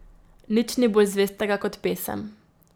Nič ni bolj zvestega kot pesem.